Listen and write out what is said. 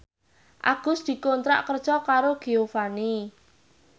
Agus dikontrak kerja karo Giovanni